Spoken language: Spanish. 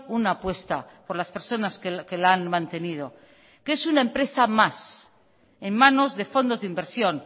una apuesta por las personas que la han mantenido que es una empresa más en manos de fondos de inversión